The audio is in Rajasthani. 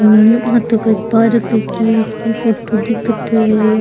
हम्म आ तो कोई पार्क की सी फोटो दीखत है।